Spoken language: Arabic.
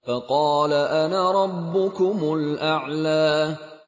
فَقَالَ أَنَا رَبُّكُمُ الْأَعْلَىٰ